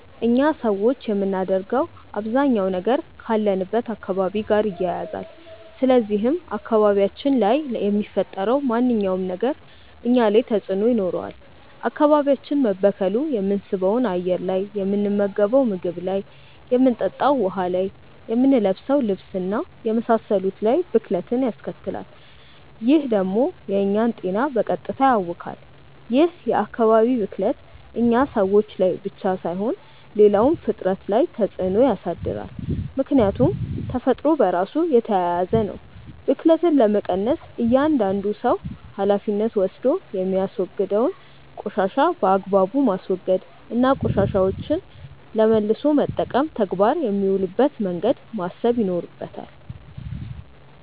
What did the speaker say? እኛ ሰዎች የምናደርገው አባዛኛው ነገር ካለንበት አካባቢ ጋር ይያያዛል። ስለዚህ አካባቢያችን ላይ የሚፈጠረው ማንኛውም ነገር እኛ ላይ ተጽእኖ ይኖረዋል። አካባቢያችን መበከሉ የምንስበው አየር ላይ፣ የምንመገንው ምግብ ላይ፣ የምንጠጣው ውሀ ላይ፣ የምንለብሰው ልብስ እና የመሳሰሉት ላይ ብክለት ያስከትላል። ይህ ደግሞ የእኛን ጤና በቀጥታ ያውካል። ይህ የአካባቢ ብክለት እኛ ሰዎች ላይ ብቻ ሳይሆን ሌላውም ፍጥረት ላይ ተፅእኖ ያሳድራል። ምክያቱም ተፈጥሮ በራሱ የተያያዘ ነው። ብክለትን ለመቀነስ እያዳንዱ ሰው ሀላፊነት ወስዶ የሚያወግደውን ቆሻሻ በአግባቡ ማስወገድ እና ቆሻሻዎችን ለመልሶ መጠቀም ተግባር የሚውልበትን መንገድ ማሰብ ይኖርበታል።